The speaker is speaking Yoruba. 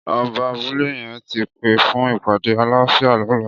Ọbà àbùlé yèn ti pé fùn ipàdé àláfiá lọ̀lá